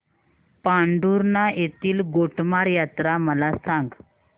पांढुर्णा येथील गोटमार यात्रा मला सांग